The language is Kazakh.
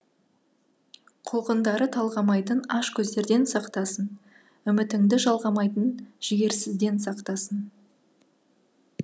құлқындары талғамайтын аш көздерден сақтасын үмітіңді жалғамайтын жігерсізден сақтасын